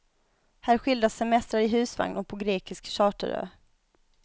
Här skildras semestrar i husvagn och på grekisk charterö.